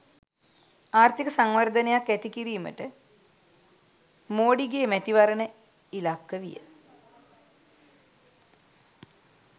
ආර්ථික සංවර්ධනයක් ඇති කිරීමට මෝඩිගේ මැතිවරණ ඉලක්ක විය.